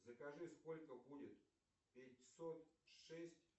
закажи сколько будет пятьсот шесть